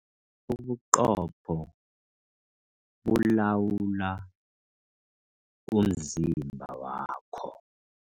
Ubuqopho bulawula umzimba wakho.